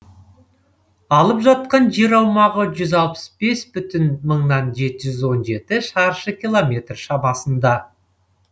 алып жатқан жер аумағы жүз алпыс бес бүтін мыңнан жеті жүз он жеті шаршы километр шамасында